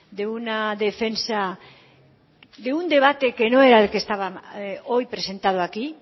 de una defensa de un debate que no era el que estaba hoy presentado aquí